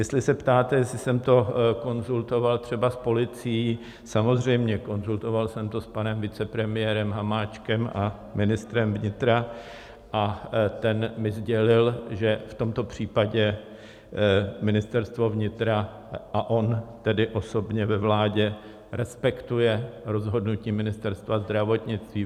Jestli se ptáte, jestli jsem to konzultoval třeba s policií, samozřejmě, konzultoval jsem to s panem vicepremiérem Hamáčkem a ministrem vnitra a ten mi sdělil, že v tomto případě Ministerstvo vnitra, a on tedy osobně ve vládě, respektuje rozhodnutí Ministerstva zdravotnictví.